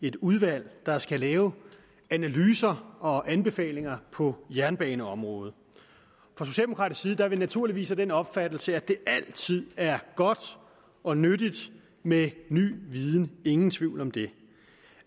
et udvalg der skal lave analyser og anbefalinger på jernbaneområdet fra socialdemokratisk side er vi naturligvis af den opfattelse at det altid er godt og nyttigt med ny viden ingen tvivl om det